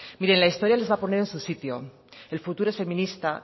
mire la historia les va a poner en su sitio el futuro es feminista